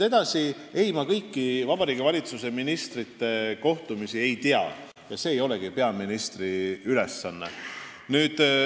Ei, ma kõiki Vabariigi Valitsuse ministrite kohtumisi ei tea ja see ei olegi peaministri ülesanne.